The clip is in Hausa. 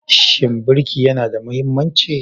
Shin birki yana da mahimmanci?